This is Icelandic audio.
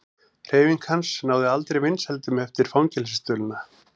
Hreyfing hans náði aldrei vinsældum eftir fangelsisdvölina.